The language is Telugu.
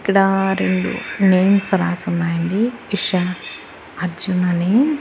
ఇక్కడ రెండు నేమ్ రాసి ఉన్నాయి అండి ఇషా అర్జున్ అని.